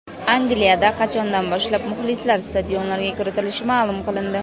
Angliyada qachondan boshlab muxlislar stadionlarga kiritilishi ma’lum qilindi.